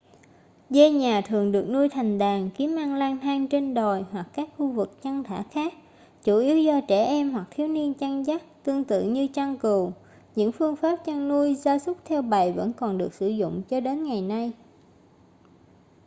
dê nhà thường được nuôi thành đàn kiếm ăn lang thang trên đồi hoặc các khu vực chăn thả khác chủ yếu do trẻ em hoặc thiếu niên chăn dắt tương tự như chăn cừu những phương pháp chăn nuôi gia súc theo bầy vẫn còn được sử dụng cho đến ngày nay